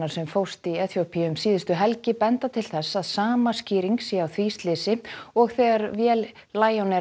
sem fórst í Eþíópíu um síðustu helgi benda til þess að sama skýring sé á því slysi og þegar vél